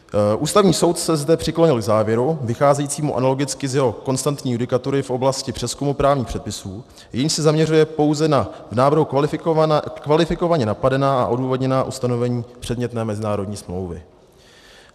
Ústavní soud se zde přiklonil k závěru vycházejícímu analogicky z jeho konstantní judikatury v oblasti přezkumu právních předpisů, jenž se zaměřuje pouze na v návrhu kvalifikovaně napadená a odůvodněná ustanovení předmětné mezinárodní smlouvy.